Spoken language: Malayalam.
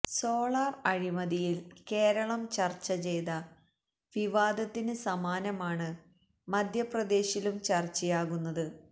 സോളാർ അഴിമതിയിൽ കേരളം ചർച്ച ചെയ്ത വിവാദത്തിന് സമാനമാണ് മധ്യപ്രദേശിലും ചർച്ചയാകുന്നത്